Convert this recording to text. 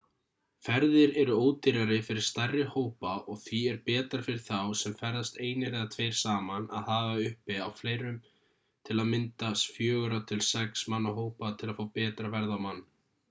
ferðir eru ódýrari fyrir stærri hópa og því er betra fyrir þá sem ferðast einir eða tveir saman að hafa uppi á fleirum til að mynda fjögurra til sex manna hóp til að fá betra verð á mann